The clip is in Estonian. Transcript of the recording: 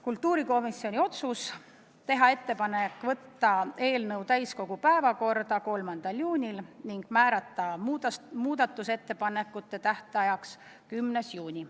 Kultuurikomisjoni otsus oli teha ettepanek võtta eelnõu täiskogu päevakorda 3. juuniks ning määrata muudatusettepanekute tähtajaks 10. juuni.